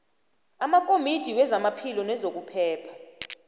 amakomidi wezamaphilo nezokuphepha